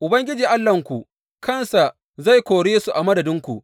Ubangiji Allahnku kansa zai kore su a madadinku.